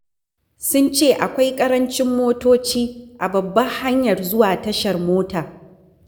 Sun ce akwai ƙarancin motoci a babbar hanyar zuwa tashar mota.